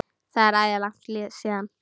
Það er æði langt síðan.